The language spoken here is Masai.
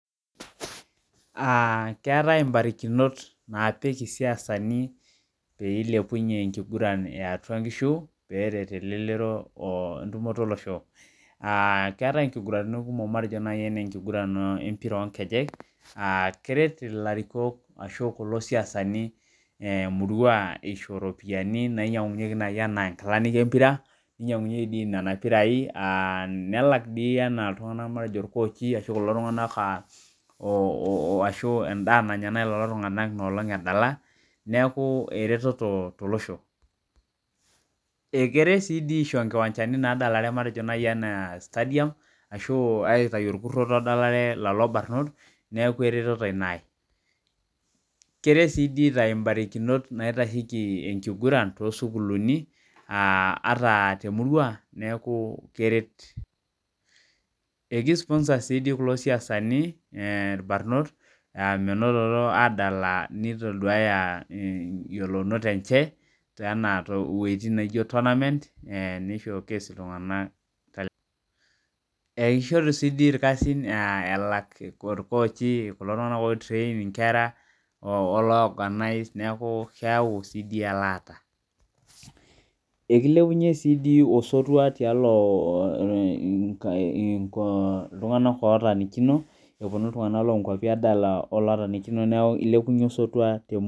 Ah keetae ibarakinot naapik isiasani pee ilepunye enkiguran eatua nkishu, peeret elelero o entumoto olosho. Keetae inkiguraniti kumok matejo nai enenkiguran empira onkejek, keret ilarikok ashu kulo siasani emurua isho ropiyiani nainyang'unye nai enaa nkilani empira, ninyang'unyeki di nena pirai, nelak dii enaa iltung'anak matejo irkoochi ashu kulo tung'anak ashu endaa nanya nai lolo tung'anak inoolong edala, neeku ereteto tolosho. Ekeret si di aisho nkiwanjani nadalare matejo nai enaa stadium, ashu aitayu orkurroto odalare lolo barnot, neeku ereteto ina ai. Keret si di aitayu barakinot naitasheki enkiguran tosukuulini, ata temurua, neeku keret. Eki sponsor si di kulo siasani irbanot, menototo adala nitoduaya yiolounot enche, anaa woiting naijo tournament, ni showcase iltung'anak. Ishoru si di irkasin elak orkoochi, kulo tung'anak oi train inkera, ologanais neeku keeu si di elaata. Ekilepunye si di osotua tialo iltung'anak otaanikino, eponu iltung'anak lonkwapi adala olotanikino neeku ilepunye osotua temurua.